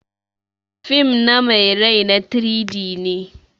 Fim na mai rai na 3-D ne.